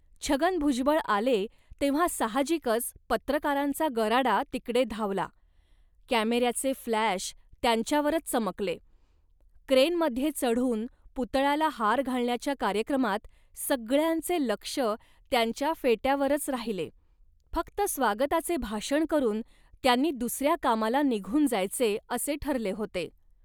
छगन भुजबळ आले तेव्हा साहजिकच पत्रकारांचा गराडा तिकडे धावला, कॅमेऱ्याचे फ्लॅश त्यांच्यावरच चमकले, क्रेनमध्ये चढून पुतळ्याला हार घालण्याच्या कार्यकमात सगळ्यांचे लक्ष त्यांच्या फेट्यावरच राहिले. फक्त स्वागताचे भाषण करून त्यांनी दुसऱ्या कामाला निघून जायचे असे ठरले होते